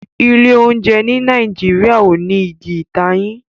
Ilé oúnjẹ ní Nàìjíríà o ní Ìgi ìtayín.